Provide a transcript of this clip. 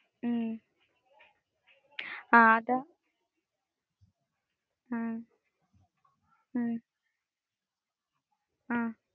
ഹാ